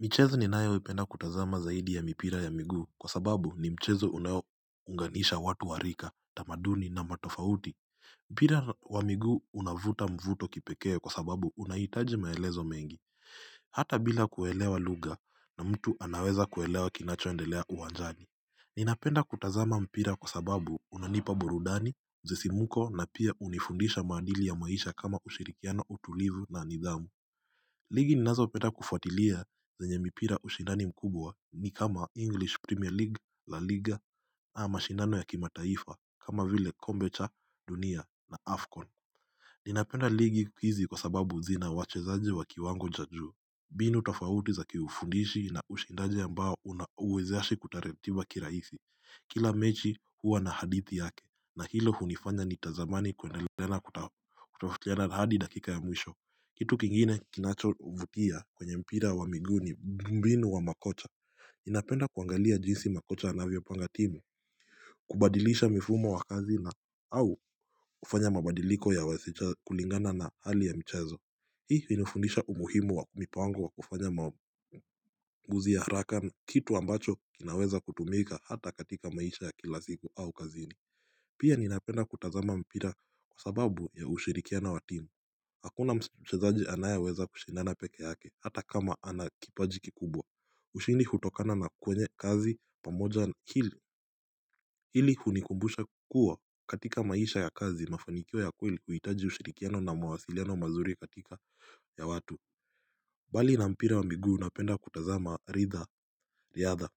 Michezo ni nayo ipenda kutazama zaidi ya mipira ya miguu kwa sababu ni mchezo unao unganisha watu warika, tamaduni na matofauti. Mpira wa miguu unavuta mvuto kipekee kwa sababu unaitaji maelezo mengi. Hata bila kuelewa lugha na mtu anaweza kuelewa kinachoendelea uwanjani. Ninapenda kutazama mpira kwa sababu unanipa burudani, msisimuko na pia unifundisha maadili ya maisha kama ushirikiano utulivu na nidhamu. Ligi ni nazo penda kufuatilia zenye mipira ushindani mkubwa ni kama English premier league la liga na mashindano ya kimataifa kama vile kombe cha dunia na Afcon Ninapenda ligi hizi kwa sababu zina wachezaji wa kiwango cha juu mbinu tofauti za kiufundishi na ushindaji ambao uwezesha kuratiba kiraisi Kila mechi huwa na hadithi yake na hilo hunifanya ni tamani kwendelea kutafutiana nahadi dakika ya mwisho kitu kingine kinacho vutia kwenye mpira wa miguu ni mbinu wa makocha napenda kuangalia jinsi makocha anavyo pangatimu kubadilisha mifumo wakazi na au kufanya mabadiliko ya waseja kulingana na hali ya mchezo Hii hunifundisha umuhimu wa mipango wa kufanya mamuzi ya haraka kitu ambacho kinaweza kutumika hata katika maisha ya kilasiku au kazini Pia ninapenda kutazama mpira kwa sababu ya ushirikiano wa timu Hakuna mchezaji anaye weza kushindana peke yake hata kama ana kipaji kikubwa ushindi hutokana na kwenye kazi pamoja hili hunikumbusha kuwa katika maisha ya kazi mafanikio ya kweli huhitaji ushirikiano na mawasiliano mazuri katika ya watu mbali na mpira wa miguu napenda kutazama ritha riadha